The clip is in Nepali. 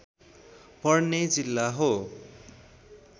पर्ने जिल्ला हो